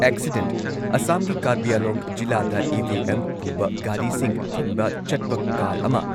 accident- ꯑꯁꯥꯝꯒꯤ ꯀꯥꯔꯕꯤ ꯑꯪꯂꯣꯡ ꯖꯤꯂꯥꯗ ꯏ.ꯚꯤ.ꯑꯦꯝ ꯄꯨꯕ ꯒꯥꯔꯤꯁꯤꯡ ꯊꯤꯟꯕ ꯆꯠꯄ ꯀꯥꯔ ꯑꯃ